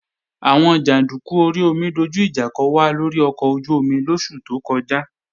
Àwọn jàndúkú orí omi dojú ìjà kò wá lórí ọkọ̀ ojú-omi lóṣù tó kọjá